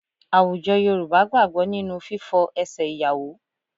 Àwùjọ Yorùbá gbàgbọ́ nínú fífọ ẹsẹ̀ ìyàwó